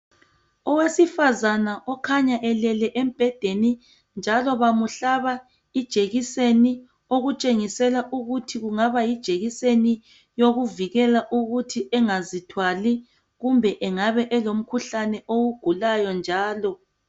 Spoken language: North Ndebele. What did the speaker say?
Owesifazana okhanya elele embhedeni, bamhlaba ijekiseni okutshengisela ukuthi kungabe kuyijekiseni yokuvikela ukuthi angazithwali kumbe engabe elomkhuhlane awugulayo njalo.